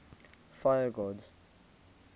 fire gods